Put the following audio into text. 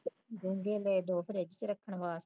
ਡੋਗੇ ਲਏ ਫਰਜ਼ ਵਿੱਚ ਰੱਖਣ ਵਾਸਤੇ